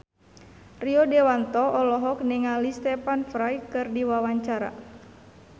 Rio Dewanto olohok ningali Stephen Fry keur diwawancara